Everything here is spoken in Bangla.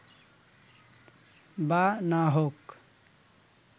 বা না-হোক